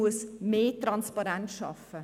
Man muss mehr Transparenz schaffen.